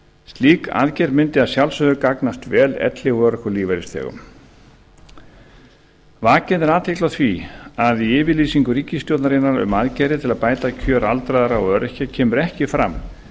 slík aðgerð mundi að sjálfsögðu gagnast vel elli og örorkulífeyrisþegum vakin er athygli á því að í yfirlýsingu ríkisstjórnarinnar um aðgerðir til þess að bæta kjör aldraðra og öryrkja kemur ekki fram